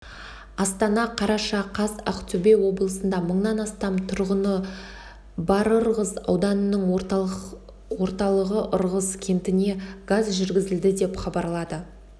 астана қараша қаз ақтөбе облысында мыңнан астам тұрғыны барырғыз ауданының орталығыырғыз кентіне газ жүргізді деп хабарлады